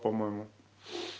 по-моему